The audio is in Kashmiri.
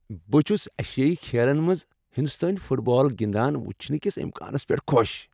بہٕ چُھس ایشیٲیی کھیلن منٛز ہنٛدوستٲنۍ فُٹ بال گنٛدان وُچھنہٕ کس امکانس پیٹھ خۄش ۔